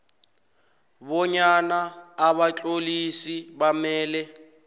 bonyana abatlolisi bamele